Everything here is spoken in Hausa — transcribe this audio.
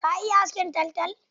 Ka iya askin taltal?